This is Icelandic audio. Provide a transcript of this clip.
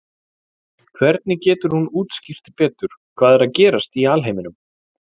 hvernig getur hún útskýrt betur hvað er að gerast í alheiminum